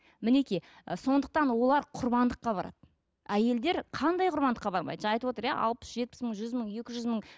мінекей і сондықтан олар құрбандыққа барады әйелдер қандай құрбандыққа бармайды жаңа айтып отыр иә алпыс жетпіс мың жүз мың екі жүз мың